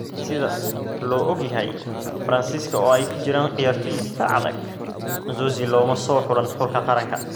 Sida loo og yahay Faransiiska oo ay ku jiraan ciyaartoy difaac adag, Nzonzi looma soo xulin xulka qaranka.